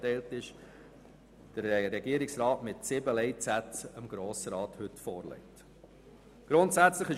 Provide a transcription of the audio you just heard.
Eigentlich sind es acht Leitsätze, weil Leitsatz 5 in a und b unterteilt ist.